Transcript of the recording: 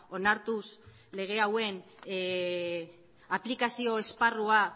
onartuz lege hauen aplikazio esparrua